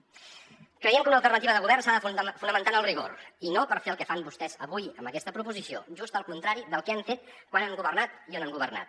creiem que una alternativa de govern s’ha de fonamentar en el rigor i no per fer el que fan vostès avui amb aquesta proposició just el contrari del que han fet quan han governat i on han governat